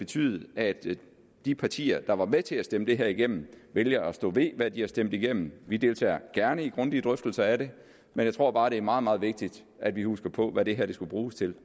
til at de partier der var med til at stemme det her igennem vælger at stå ved hvad de har stemt igennem vi deltager gerne i grundige drøftelser af det men jeg tror bare at det er meget meget vigtigt at vi husker på hvad det her skal bruges til